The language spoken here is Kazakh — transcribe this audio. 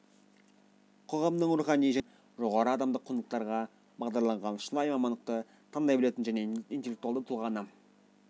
қоғамның рухани және әлеуметтік дамуына үлес қосатын жоғары адамдық құндылықтарға бағдарланған шынайы мамандықты таңдай білетін және интеллектуалды тұлғаны